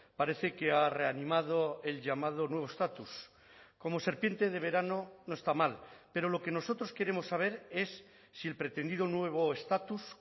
parece que ha reanimado el llamado nuevo estatus como serpiente de verano no está mal pero lo que nosotros queremos saber es si el pretendido nuevo estatus